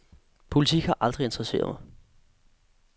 Politik har aldrig interesseret mig.